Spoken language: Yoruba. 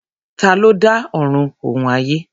Ta ló dá Ọ̀run òun ayé?